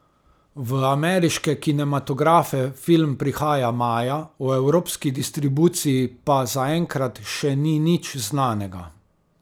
V ameriške kinematografe film prihaja maja, o evropski distribuciji pa zaenkrat še ni nič znanega.